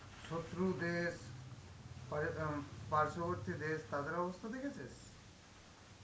শত্রু দেশ, প্রায় আম দেশ, তাদের অবস্থা দেখেছিস?